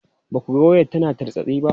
Ba ku ganin wayar tana tartsatsi ba?